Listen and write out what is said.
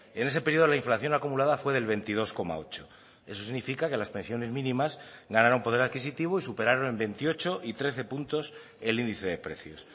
en ese periodo la inflación acumulada fue del veintidós coma ocho eso significa que las pensiones mínimas ganaron poder adquisitivo y superaron en veintiocho y trece puntos el índice de precios